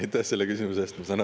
Ja aitäh selle küsimuse eest!